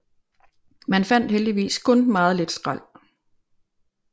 Man fandt heldigvis kun meget lidt skrald